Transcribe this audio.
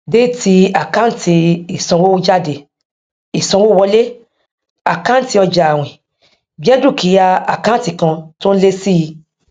md tí fi ibè sílè lẹyìn igba gbọdọ dúró ọdún kan kí ó kan kí ó tó lè di ọgá